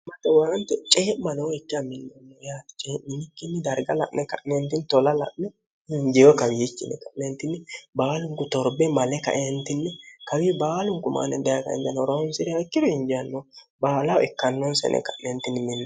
matewaante cee'manoo ikki a millonmimiati ceninikkinni darga la'ne ka'neentini tola la'ne hinjiyo kawiichinne ka'neentinni baalunku torbe male kaeentinni kawi baalunku maane di ken0no roonsi'riy ikkiru hinjianno baalawo ikkannoonsene ka'neentinni minno